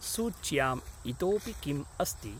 सूच्याम् इतोपि किम् अस्ति?